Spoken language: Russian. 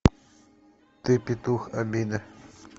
ты петух обида